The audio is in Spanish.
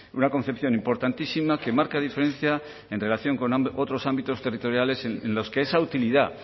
una concepción importantísima que marca diferencia en relación con otros ámbitos territoriales en los que esa utilidad